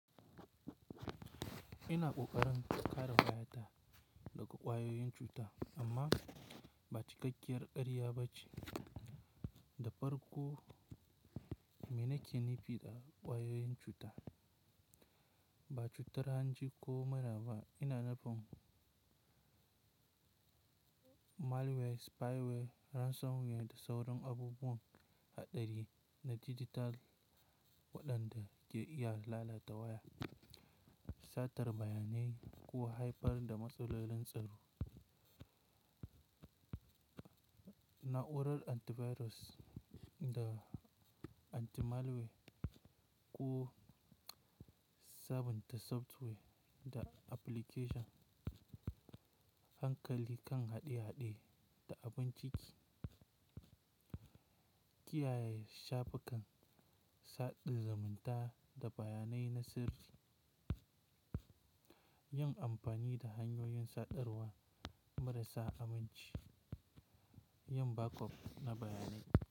Ina kokarin kare wayata daga kwayoyin cuta amma ba cikakkiyar kariya ba ce. Da farko, me nake nufi da kwayoyin cuta, ba cutar hanji ko maraba? Ina nufin malware, spyware, ransomware da sauran abubuwan haɗari na dijital waɗanda ke iya lalata waya, satar bayanai ko haifar da matsalolin tsaro. Na’urar antivirus da antimalware, ƙu sabunta software da application hankali kan haɗe-haɗe da abun ciki, kiyaye shafe kan saɗin zumunta da bayanai na sirri, yin amfani da hanyoyin sadarwa marasa aminci, yin backup na bayanai.